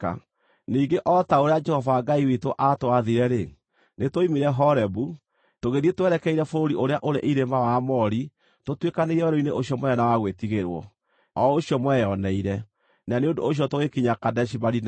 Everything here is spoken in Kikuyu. Ningĩ o ta ũrĩa Jehova Ngai witũ aatwathire-rĩ, nĩtwoimire Horebu, tũgĩthiĩ twerekeire bũrũri ũrĩa ũrĩ irĩma wa Aamori tũtuĩkanĩirie werũ-inĩ ũcio mũnene na wa gwĩtigĩrwo, o ũcio mweyoneire, na nĩ ũndũ ũcio tũgĩkinya Kadeshi-Barinea.